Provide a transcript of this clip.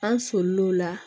An solil'o la